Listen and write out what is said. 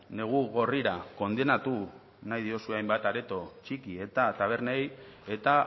negu gorrira kondenatu nahi diozue hainbat areto txiki eta tabernei eta